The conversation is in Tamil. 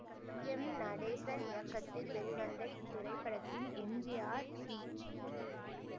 எம் நடேசன் இயக்கத்தில் வெளிவந்த இத்திரைப்படத்தில் எம் ஜி ஆர் பி